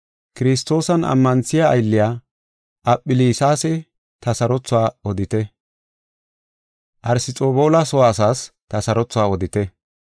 Kiristoosan ammanthiya aylliya Aphelisas ta sarothuwa odite. Arsxobuloosa soo asaas ta sarothuwa odite.